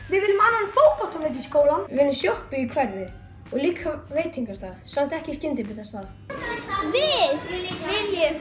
við viljum annan fótboltavöll í skólann við viljum sjoppu í hverfið og líka veitingastað samt ekki skyndibitastað við viljum